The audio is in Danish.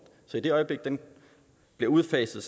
så i det øjeblik den bliver udfaset